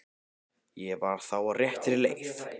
Ég var þá á réttri leið!